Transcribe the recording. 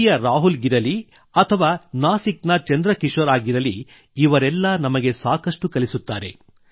ಪುರಿಯ ರಾಹುಲ್ ಗಿರಲಿ ಅಥವಾ ನಾಸಿಕ್ ನ ಚಂದ್ರ ಕಿಶೋರ್ ಆಗಿರಲಿ ಇವರೆಲ್ಲ ನಮಗೆ ಸಾಕಷ್ಟು ಕಲಿಸುತ್ತಾರೆ